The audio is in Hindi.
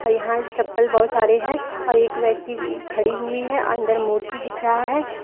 यहां चप्पल बहुत सारे हैं और एक व्यक्ति खड़ी हुई है अंदर मूर्ति दिख रहा है।